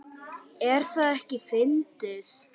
Er það ekki fyndið?